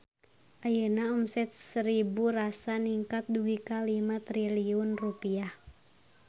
Ayeuna omset Seribu Rasa ningkat dugi ka 5 triliun rupiah